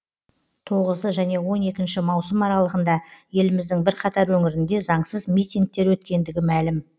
тоғызы және он екінші маусым аралығында еліміздің бірқатар өңірінде заңсыз митингтер өткендігі мәлім